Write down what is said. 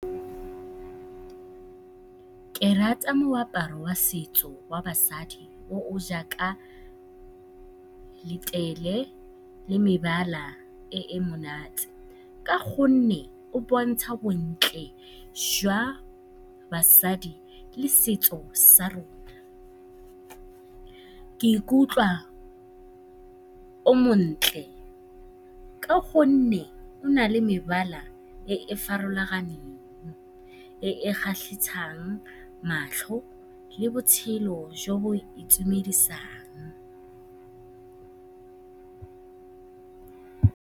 Ke rata moaparo wa setso wa basadi o o jaaka letlele le mebala e e monate ka gonne o bontsha bontle jwa basadi le setso sa rona. Ke ikutlwa o montle ka gonne o na le mebala e e farologaneng, e e kgatlhisang matlho le botshelo jo bo itumedisang.